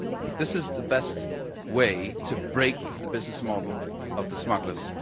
This is the best way to break the business model of the smugglers.